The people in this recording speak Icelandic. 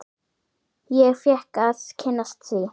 Ég fékk að kynnast því.